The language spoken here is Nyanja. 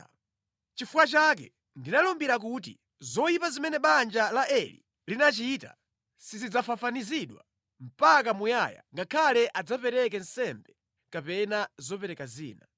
Nʼchifukwa chake ndinalumbira kuti, ‘Zoyipa zimene banja la Eli linandichita sizidzafafanizidwa mpaka muyaya ngakhale adzapereke nsembe kapena zopereka zina.’ ”